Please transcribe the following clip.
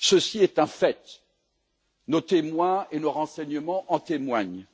Ceci est un fait, nos témoins et nos renseignements en témoignent.